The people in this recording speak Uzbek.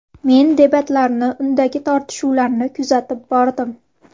Men debatlarni, undagi tortishuvlarni kuzatib bordim.